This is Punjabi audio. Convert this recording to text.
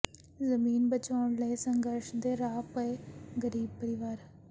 ਜ਼ਮੀਨ ਬਚਾਉਣ ਲਈ ਸੰਘਰਸ਼ ਦੇ ਰਾਹ ਪਏ ਗਰੀਬ ਪਰਿਵਾਰ